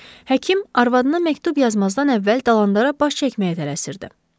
Həkim arvadına məktub yazmazdan əvvəl Dalandara baş çəkməyə tələsirdi.